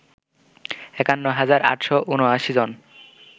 ৫১ হাজার ৮৭৯ জন